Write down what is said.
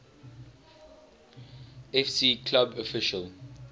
fc club official